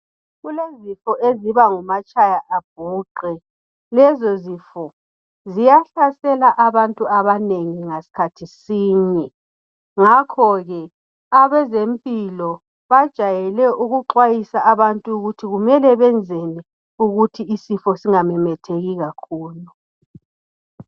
Kulezifo eziba ngumatshaya abhuqe, lezo zifo ziyahlasela abantu abanengi ngasikhathi sinye ngakhoke abezempilo bajayele ukuxwayisa abantu ukuthi bamele benzeni ukuthi isifo singamemetheki kakhulu.